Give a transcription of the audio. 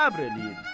Səbr eləyin.